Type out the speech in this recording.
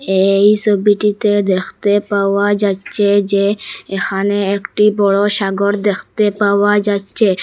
এই ছবিটিতে দেখতে পাওয়া যাচ্ছে যে এখানে একটি বড়ো সাগর দেখতে পাওয়া যাচ্ছে।